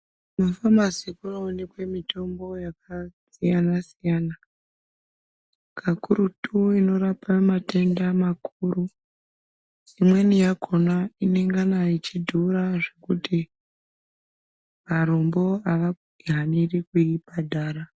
Kumafamasi kuno oneka mitombo yakasiyana siyana, kakurutu inorape matenda makuru. Imweni yakona inongana yeidhura zvekuti arombo avahaniri kuibhadhara.